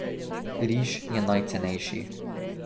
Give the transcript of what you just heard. Riž je najcenejši.